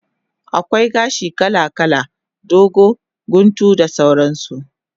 Akwai gashi kala kala, dogo, guntu da sauran su